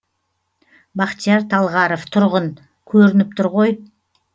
бақтияр талғаров тұрғын көрініп тұр ғой